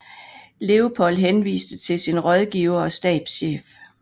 Leopold henviste til sin rådgiver og stabschef